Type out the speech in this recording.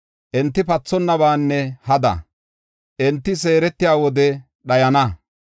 Enti pathonnabaanne hada; enti seeretiya wode dhayana.